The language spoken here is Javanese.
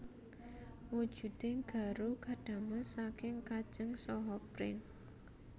Wujuding garu kadamel saking kajeng saha pring